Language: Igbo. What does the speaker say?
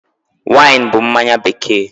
Wine bụ mmanya bekee.